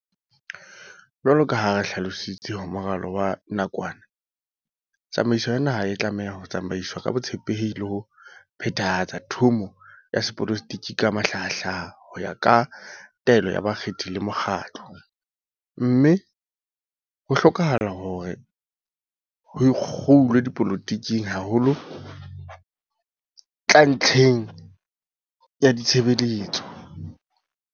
Jwalo ka ha re hlalositse ho moralo wa nakwana, "tsamaiso ya naha e tlameha ho tsamaiswa ka botshepehi le ho phethahatsa thomo ya sepolotiki ka mahlahahlaha ho ya ka taelo ya bakgethi le mokgatlo, mme ho hlokahala hore ho ikgulwe dipoloti keng ha ho tla ntlheng ya ditshebeletso."